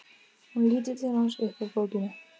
Hún lítur til hans upp úr bókinni.